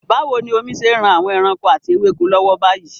Báwo ni omi ṣe ń ran àwọn ẹranko àti ewéko lọ́wọ́ báyìí?